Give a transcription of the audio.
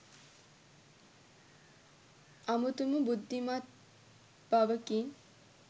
අමුතුම බුද්ධිමත් බවකින්